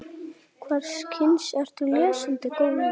Hvers kyns ertu lesandi góður?